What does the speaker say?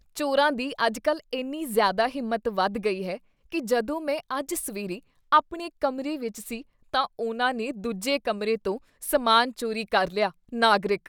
ਚੋਰਾਂ ਦੀ ਅੱਜਕੱਲ ਇੰਨੀ ਜ਼ਿਆਦਾ ਹਿੰਮਤ ਵੱਧ ਗਈ ਹੈ ਕੀ ਜਦੋਂ ਮੈਂ ਅੱਜ ਸਵੇਰੇ ਆਪਣੇ ਕਮਰੇ ਵਿੱਚ ਸੀ ਤਾਂ ਉਨ੍ਹਾਂ ਨੇ ਦੂਜੇ ਕਮਰੇ ਤੋਂ ਸਮਾਨ ਚੋਰੀ ਕਰ ਲਿਆ ਨਾਗਰਿਕ